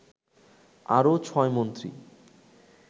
আরও ছয় মন্ত্রী